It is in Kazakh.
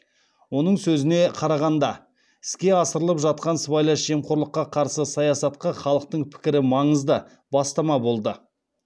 оның сөзіне қарағанда іске асырылып жатқан сыбайлас жемқорлыққа қарсы саясатқа халықтың пікірі маңызды бастама болды